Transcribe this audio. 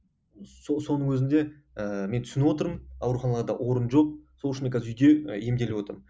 соның өзінде ііі мен түсініп отырмын ауруханаларда орын жоқ сол үшін мен қазір үйде і емделіп отырмын